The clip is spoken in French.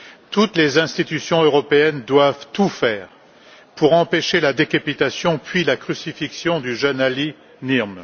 Toutes les institutions européennes doivent tout faire pour empêcher la décapitation puis la crucifixion du jeune Ali Mohammed al Nimr.